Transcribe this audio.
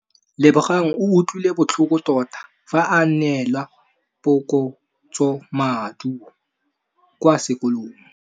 Lebogang o utlwile botlhoko tota fa a neelwa phokotsômaduô kwa sekolong.